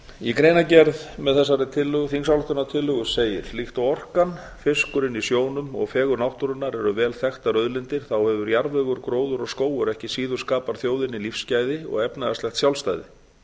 í greinargerð með þessari þingsályktunartillögu segir líkt og orkan fiskurinn í sjónum og fegurð náttúrunnar eru vel þekktar auðlindir þá hefur jarðvegur gróður og skógur ekki síður skapað þjóðinni lífsgæði og efnahagslegt sjálfstæði